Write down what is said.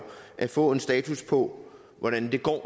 at få en status på hvordan det